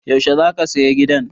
Yaushe za ka saya gidan?